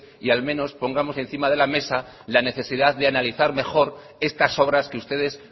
y al menos pongamos encima de la mesa la necesidad de analizar mejor estas obras que ustedes